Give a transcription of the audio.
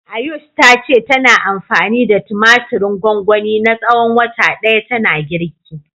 Ayush ta ce tana anfani da tumatirin gwangwani na tsawon wata ɗaya tana girki.